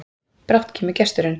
Brátt kemur gesturinn,